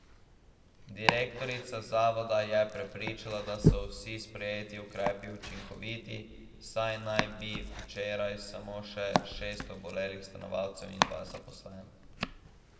Direktorica zavoda je prepričana, da so vsi sprejeti ukrepi učinkoviti, saj naj bi imeli včeraj samo še šest obolelih stanovalcev in dva zaposlena.